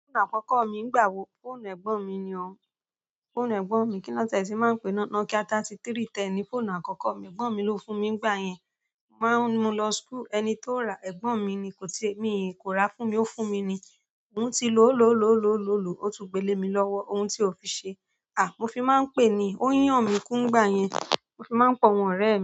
Fóònù àkọ́kọ́ mi ń gbà wò, fóònù ẹ̀gbọ́n mi ni ọ́. Fóònù ẹ̀gbọ́n mi, kí nọ́ tiẹ ti máa ń pè é, Nokia thirty-three ten ni fóònù àkọ́kọ́ mi. Ẹ̀gbọ́n mi ló fún mi nígbà yẹn. Mo máa ń, mu lọ school, ẹni tó ra, ẹ̀gbọ́n mi ni. Kò ti, mi kò ra fún mi, ó fún mi ni. Mo ti lò ó, lò ó, lò ó, lò ó, lò ó, ó tún gbélé mi lọ́wọ́. Ohun tó fi ṣe, à, mo fi máa ń pè ni. Ó yan mí kú nígbà yẹn. Mo fí máa ń pé àwọn ọrẹ mí.